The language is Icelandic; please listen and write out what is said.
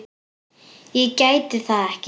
Ég gæti það ekki.